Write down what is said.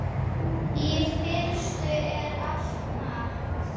Í fyrstu er allt matt.